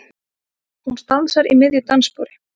Hún stansar í miðju dansspori.